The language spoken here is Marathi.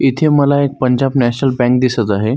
इथे मला एक पंजाब नॅशनल बँक दिसत आहे.